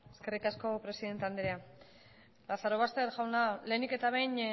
eskerrik asko presidente andrea lazarobaster jauna lehenik eta behin